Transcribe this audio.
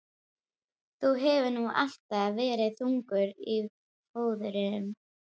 Þú hefur nú alltaf verið þungur á fóðrum.